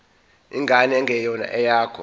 ingane engeyona eyakho